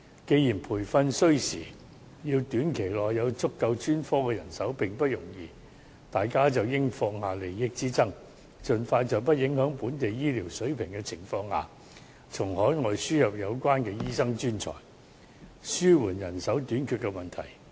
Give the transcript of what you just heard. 既然培訓需時，要在短期內有足夠的專科人手並不容易，大家便應該放下利益之爭，盡快在不影響本地醫療水平的前提下，從海外輸入有關醫生專才，以紓緩人手短缺的問題。